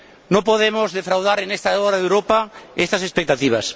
No podemos defraudar en esta hora de Europa estas expectativas.